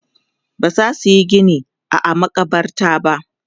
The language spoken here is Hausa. bazasu Yi Gini a a makabarta ba